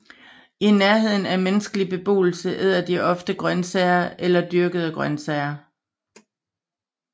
I nærheden af menneskelig beboelse æder de ofte afgrøder eller dyrkede grønsager